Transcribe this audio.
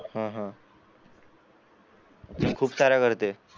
हा हा खूप साऱ्या करते